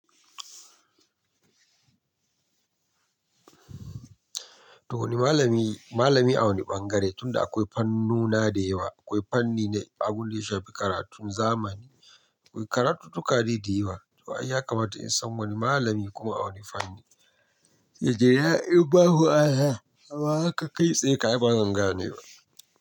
To wane malami, malami a wani ɓangare tunda akwai fannona da yawa. Akwai fanni na abun da ya shafi karatun zamani. Karantuttuka dai da yawa. To ai ya kamata in san wani malami kuma a wanne fanni. Yarinya, in babu Allah, kaga haka kai tsaye ka yi bazan gane wa.